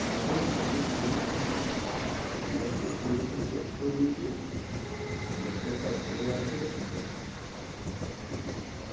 তারপরে মানুষ মানুষের মতন ভাব আসছে। এবার platelet যখন check করিয়েছি, platelet টা ভালো আছে।